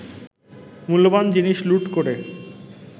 মূল্যবান জিনিস লুট করে